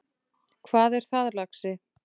Hvað er það, lagsi?